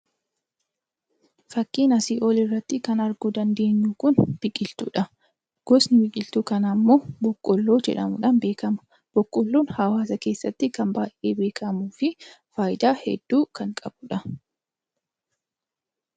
Fakkii asii olii irratti arguu dandeenyu Kun, biqiltuudha. Gosni biqiltuu kanaa immoo boqqolloo jedhamuudhaan beekama. Boqqolloon kan hawaasa keessatti baayyee beekamuu fi faayidaa hedduu kan qabudha.